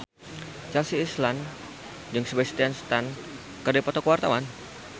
Chelsea Islan jeung Sebastian Stan keur dipoto ku wartawan